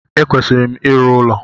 E kwesịrị m ịrụ ụlọ